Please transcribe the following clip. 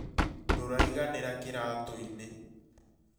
Nduraiganĩra kĩratu-inĩ